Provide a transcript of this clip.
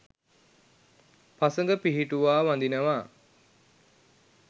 පසඟ පිහි‍ටුවා වඳිනවා